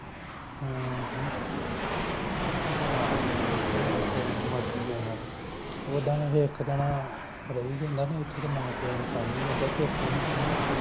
ਹਾਂ ਚਲ ਕੋਈ ਨਾ ਮਰਜੀ ਆ ਓਹਨਾਂ ਦੀ ਓਦਾ ਇੱਕ ਜਾਣਾ ਰਹੀ ਜਾਂਦਾ ਨਾ ਏਥੇ ਮਾਂ ਪੀਓ ਨੂ ਸਾਂਭੀ ਜਾਂਦਾ ਫੇਰ ਕੀ ਸੀ